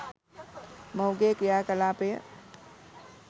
මොහුගේ ක්‍රියා කලාපය